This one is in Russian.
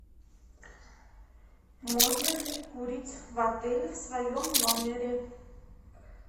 можно ли курить в отеле в своем номере